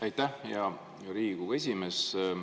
Aitäh, hea Riigikogu esimees!